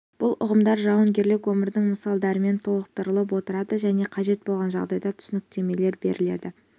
бұл ұғымдар жауынгерлік өмірдің мысалдарымен толықтырылып отырады және қажет болған жағдайда түсініктемелер беріледі